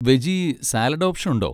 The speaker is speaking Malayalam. വെജി സാലഡ് ഓപ്ഷൻ ഉണ്ടോ?